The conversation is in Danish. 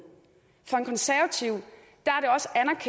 for en konservativ